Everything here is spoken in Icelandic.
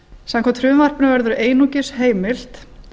samkvæmt frumvarpinu verður einungis heimilt